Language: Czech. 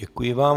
Děkuji vám.